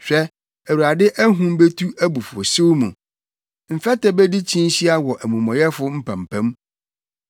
Hwɛ, Awurade ahum betu abufuwhyew mu, mfɛtɛ bedi kyinhyia wɔ amumɔyɛfo mpampam.